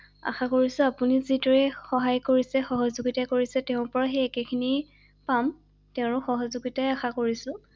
আশাকৰিছো আপুনি যিদৰে সহায় কৰিছে সহযোগিতা কৰিছে তেওঁৰ পৰা সেই একেখিনি পাম৷ তেওঁৰ সহযোগিতাই আশা কৰিছো৷